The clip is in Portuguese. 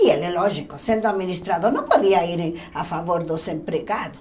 E ele, lógico, sendo administrador, não podia ir em a favor dos empregados.